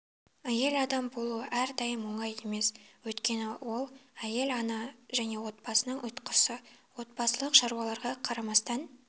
әйел адам болу әрдайым оңай емес өйткені ол әйел ана және отбасының ұйытқысы отбасылық шаруаларға қарамастан